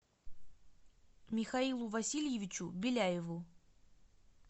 михаилу васильевичу беляеву